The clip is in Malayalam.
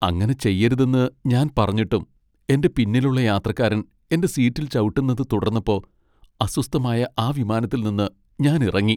അങ്ങനെ ചെയ്യരുതെന്ന് ഞാൻ പറഞ്ഞിട്ടും എന്റെ പിന്നിലുള്ള യാത്രക്കാരൻ എന്റെ സീറ്റിൽ ചവിട്ടുന്നത് തുടർന്നപ്പോ അസ്വസ്ഥമായ ആ വിമാനത്തിൽ നിന്ന് ഞാൻ ഇറങ്ങി .